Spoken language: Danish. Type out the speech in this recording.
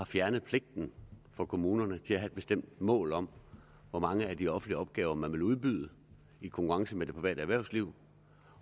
fjernet pligten for kommunerne til at have et bestemt mål om hvor mange af de offentlige opgaver man vil udbyde i konkurrence med det private erhvervsliv